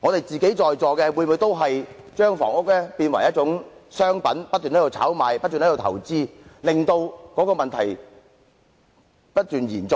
在座各位是否也已把房屋變為一種商品，不斷進行炒賣投資，令問題不斷延續呢？